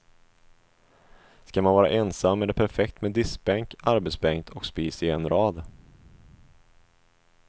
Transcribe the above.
Ska man vara ensam är det perfekt med diskbänk, arbetsbänk och spis i en rad.